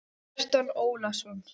Kjartan Ólason